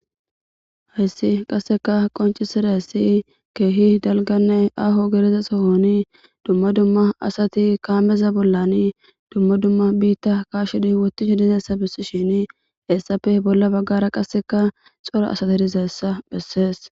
Hayssi qasseka qonccisizayssa keehi dalgganne aaho gidiza sohoni dumma dumma asati kaammeza bolla dumma dumma biita kaashidi wottishe dizayssa bessishiinini hessappe bolla baggaara qassekka cora asati dizayssa bessees.